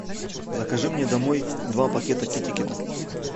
закажи мне домой два пакета китикета